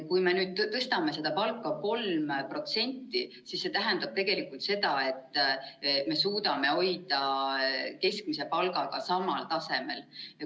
Kui me nüüd tõstame palka 3%, siis see tähendab tegelikult seda, et me suudame hoida keskmise palgaga samal tasemel.